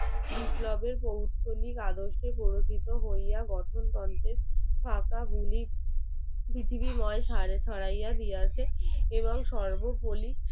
পৃথিবীর বয়স সরয়া দিয়াছে এবং সর্বপল্লী